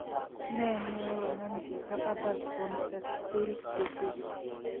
Ne neyoi konam chito adult onset still's disease?